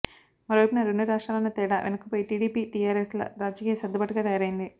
మరో వైపున రెండు రాష్ట్రాలన్న తేడా వెనక్కు పోయి టిడిపి టిఆర్ఎస్ల రాజకీయ సర్దుబాటుగా తయారైంది